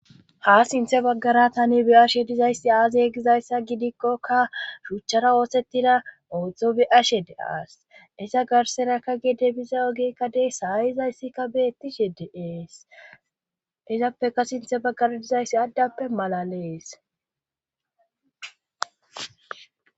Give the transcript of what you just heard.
Ha sinthe baggara tani bi'ashe dizayssi aazi yegizayssa gidikkokka huchchara oosettida oodzdzo be7ashe de7as isa garserakka gide biza ogikka dey saayizayssikka beettishe deees izappeka sinthe baggara dizayssi addappe malalees.